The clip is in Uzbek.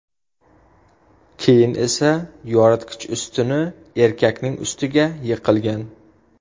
Keyin esa yoritgich ustuni erkakning ustiga yiqilgan.